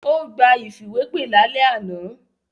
Ó gba ìfìwépè lálẹ́ àná.